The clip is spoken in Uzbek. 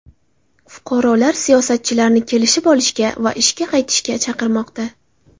Fuqarolar siyosatchilarni kelishib olishga va ishga qaytishga chaqirmoqda.